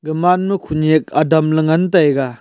gamanma khonyak adam ley ngantaiga.